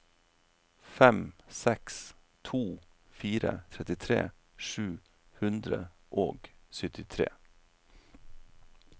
fem seks to fire trettitre sju hundre og syttitre